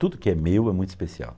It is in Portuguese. Tudo que é meu é muito especial.